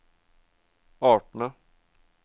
artene